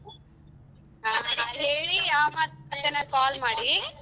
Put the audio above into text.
ಹಾ ಹೇಳಿ ಯಾವಾಗಂತಾ ನಂಗ್ call ಮಾಡಿ.